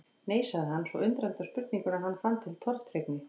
Nei. sagði hann, svo undrandi á spurningunni að hann fann til tortryggni.